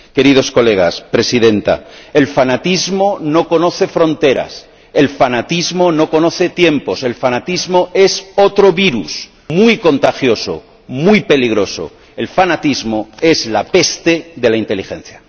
Señorías, señora Presidenta, el fanatismo no conoce fronteras, el fanatismo no conoce tiempos, el fanatismo es otro virus muy contagioso, muy peligroso, el fanatismo es la peste de la inteligencia.